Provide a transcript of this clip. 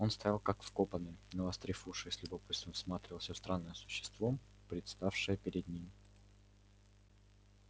он стоял как вкопанный навострив уши и с любопытством всматривался в странное существо представшее перед ним